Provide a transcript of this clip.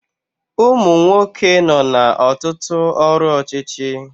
Umunwoke nọ na Ọtụtụ ọrụ ọchịchị